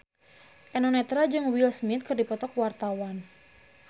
Eno Netral jeung Will Smith keur dipoto ku wartawan